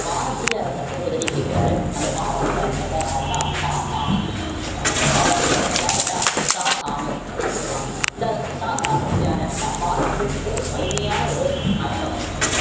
பாரசீக அரசன்ட்ட போய் உதவி கேட்கிறாரு அந்த பாரசீக அரசர்தான் யாரு அப்படின்னா ஷா தாமஸ் சொல்றாங்க so பாரசீக அரசர் யாருன்னா ஷா தாமஸ் அப்படின்னு சொல்லுவாங்க இந்த ஷா தாமஸ் யாரு அப்படின்னா பாரசீகத்தினுடைய ஒரு வலிமையான ஒரு அரச வம்சம்